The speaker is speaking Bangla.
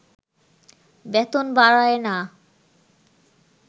বেতন বাড়ায়না